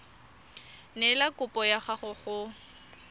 neela kopo ya gago go